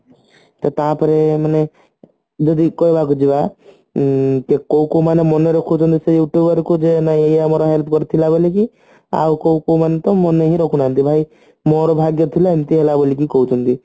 ସେ ତାପରେ ମାନେ ଯଦି କହିବାକୁ ଯିବା ଉଁ ତ କୋଉ କୋଉ ମାନେ ମନେ ରଖୁଛନ୍ତି ସେ Youtuber କୁ ଯେ ନାଇଁ ଏ ଆମର help କରିଥିଲା ବୋଲିକି ଆଉ କୋଉ କୋଉ ମାନେତ ମାନେ ବି ରଖୁ ନାହାନ୍ତି ଭାଇ ମୋର ଭାଗ୍ୟ ଥିଲା ଏମତି ହେଲା ବୋଲି କହୁଛନ୍ତି